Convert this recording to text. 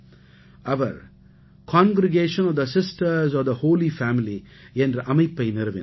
our congregation of the sisters of the holy family என்ற அமைப்பை நிறுவினார்